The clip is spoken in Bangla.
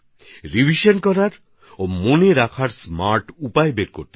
রিভিশন আর মনে রাখার স্মার্ট পদ্ধতি গ্রহণ করতে হবে